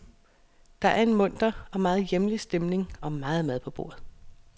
Der er en munter og meget hjemlig stemning og meget mad på bordet.